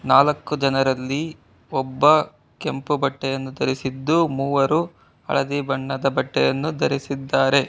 ನಾಲ್ಕು ಜನರಲ್ಲಿ ಒಬ್ಬ ಕೆಂಪು ಬಟ್ಟೆಯನ್ನು ಧರಿಸಿದ್ದು ಮೂವರು ಹಳದಿ ಬಣ್ಣದ ಬಟ್ಟೆಯನ್ನು ಧರಿಸಿದ್ದಾರೆ.